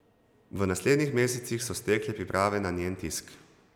V naslednjih mesecih so stekle priprave za njen tisk.